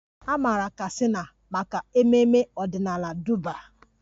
A maara Katsina maka ememme ọdịnala Durbar